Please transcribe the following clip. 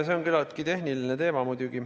See on muidugi küllaltki tehniline teema.